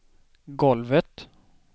golvet